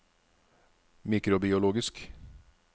mikrobiologisk